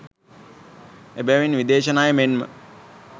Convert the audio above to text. එබැවින් විදේශ ණය මෙන්ම